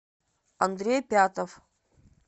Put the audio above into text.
андрей пятов